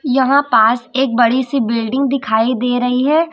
यहां पास एक बड़ी सी बिल्डिंग दिखाई दे रही है।